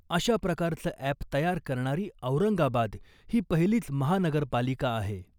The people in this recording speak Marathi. अशा प्रकारचं अॅप तयार करणारी औरंगाबाद ही पहिलीच महानगरपालिका आहे .